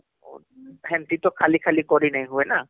ହେଂତି ତ ଖାଲି ଖାଲି କରି ନାଇଁ ହୁଏ ନା